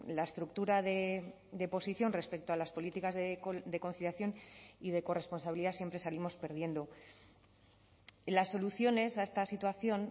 la estructura de posición respecto a las políticas de conciliación y de corresponsabilidad siempre salimos perdiendo las soluciones a esta situación